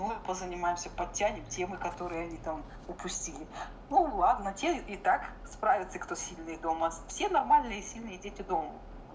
позанимаемся подтянем темы которые они там упустили ну ладно те и так справится кто сильнее дома все нормальные сильные дети дома